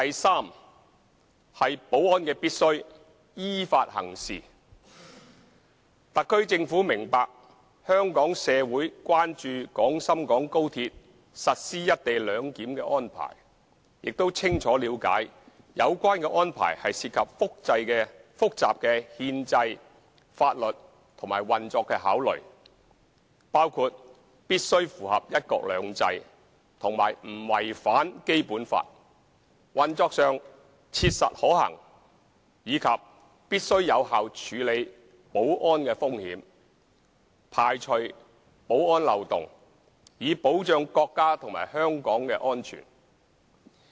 c 保安必須依法行事特區政府明白香港社會關注廣深港高鐵實施"一地兩檢"的安排，亦清楚了解有關安排涉及複雜的憲制、法律及運作考慮，包括必須符合"一國兩制"和不違反《基本法》，運作上切實可行，以及必須有效處理保安風險，排除保安漏洞，以保障國家及香港的安全。